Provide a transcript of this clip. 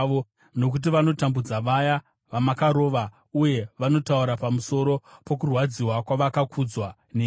Nokuti vanotambudza vaya vamakarova, uye vanotaura pamusoro pokurwadziwa kwavakakuvadzwa nemi.